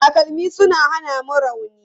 Takalmi suna hana mu rauni.